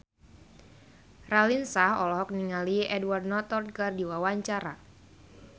Raline Shah olohok ningali Edward Norton keur diwawancara